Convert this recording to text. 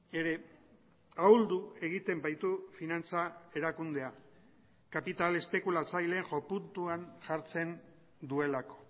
ere ahuldu egiten baitu finantza erakundea kapital espekulatzaile jo puntuan jartzen duelako